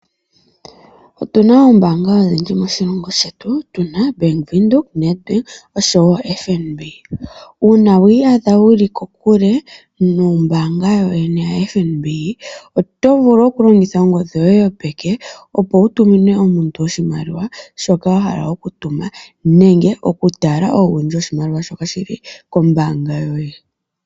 Otuna oombaanga odhindji moshilongo shetu tuna, Bank Windhoek, Nedbank osho wo FNB. Uuna wiiyadha wuli kokule nombaanga yoyene yaFNB, oto vulu okulongitha ongodhi yoye yopeke opo wutumine omuntu oshimaliwa shoka wahala okutuma nenge okutala owundji woshimaliwa shoka shili kombaanga yoye.